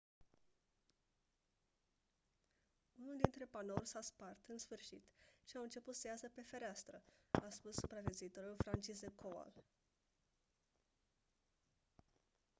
unul dintre panouri s-a spart în sfârșit și au început să iasă pe fereastră a spus supraviețuitorul franciszek kowal